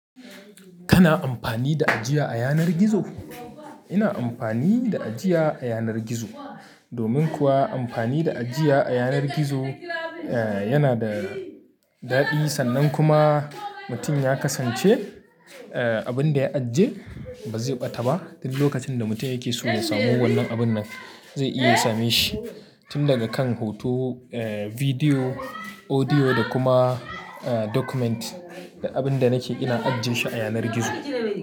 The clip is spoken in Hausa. Kana amfani da ajiya a yanar gizo? Ina amfani da ajiya a yanar gizo. Domin kuwa amfani da ajiya a yanar gizo, eh yana da daɗi. Sannan kuma mutum ya kasance, eh abin da ya ajiye ba zai ɓata ba. Tin lokacin da mutum yake so ya samu wannan abun nan, zai iya same shi. Tun daga kan hoto, eh bidiyo, audio da kuma eh document. Da abin da nake ina ajjiye shi a yanar gizo.